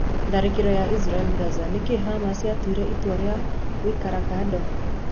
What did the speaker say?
Tharikiro ya Israel Gaza: Niki Hamas yayire itua ria gũikara kado?